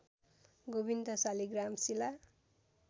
Govind Saligram Shila